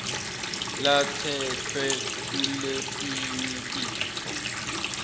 latsetfwe kuletinye titfo